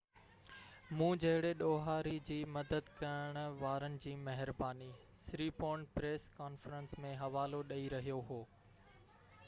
مون جهڙي ڏوهاري جي مدد ڪرڻ وارن جي مهرباني سريپورن پريس ڪانفرنس ۾ حوالو ڏيئي رهيو هو